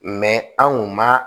anw kun ma